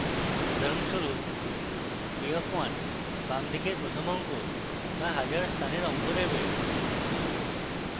উদাহরণস্বরূপ a 1 বাম দিকের প্রথম অঙ্ক বা হাজার স্থানের অঙ্ক দেবে